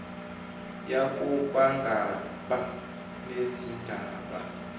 yako bangaba nezindaba